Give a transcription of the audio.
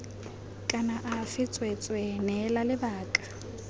kana afe tsweetswee neela lebaka